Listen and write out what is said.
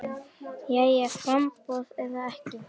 Jæja framboð eða ekki framboð?